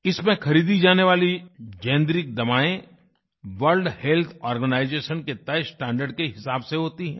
इसमें ख़रीदी जानेवाली जेनेरिक दवाएं वर्ल्ड हेल्थ आर्गेनाइजेशन के तय स्टैंडर्ड के हिसाब से होती हैं